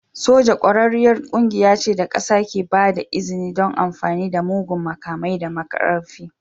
Soja ƙwararriyar ƙungiya ce da ƙasa ke ba da izini don amfani da muggan makamai da ƙarfi.